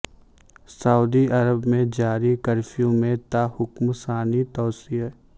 سعودی عرب میں جاری کرفیو میں تا حکم ثانی توسیع